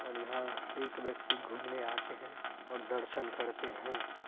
और यहाँ एक व्यक्ति घूमने आते हैं और र्दसन करते हैं।